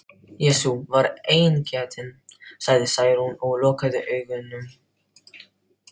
Jesú var eingetinn, sagði Særún og lokaði augunum.